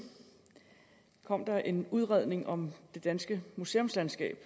kom der en udredning om det danske museumslandskab